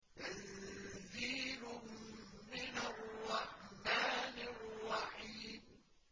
تَنزِيلٌ مِّنَ الرَّحْمَٰنِ الرَّحِيمِ